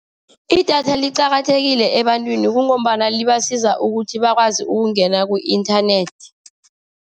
Idatha liqakathekile ebantwini, kungombana libasiza ukuthi bakwazi ukungena ku-inthanethi.